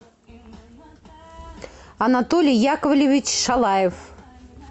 анатолий яковлевич шалаев